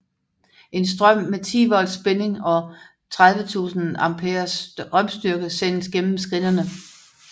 En strøm med 10 volts spænding og 30000 amperes strømstyrke sendes gennem skinnerne